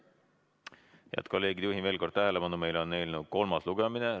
Head kolleegid, juhin veel kord tähelepanu, et meil on eelnõu kolmas lugemine.